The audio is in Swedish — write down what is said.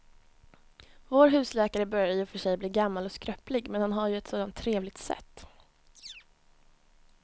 Vår husläkare börjar i och för sig bli gammal och skröplig, men han har ju ett sådant trevligt sätt!